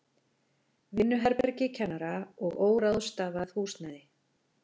Vinnuherbergi kennara og óráðstafað húsnæði.